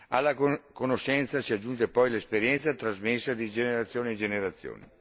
Alla conoscenza si aggiunge poi l'esperienza trasmessa di generazione in generazione.